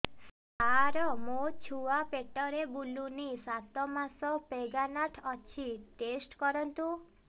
ସାର ମୋର ଛୁଆ ପେଟରେ ବୁଲୁନି ସାତ ମାସ ପ୍ରେଗନାଂଟ ଅଛି ଟେଷ୍ଟ କରନ୍ତୁ